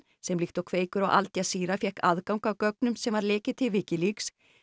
sem líkt og Kveikur og Al Jazeera fékk aðgang að gögnum sem var lekið til Wikileaks